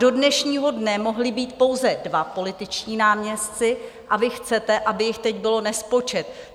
Do dnešního dne mohli být pouze dva političtí náměstci a vy chcete, aby jich teď bylo nespočet.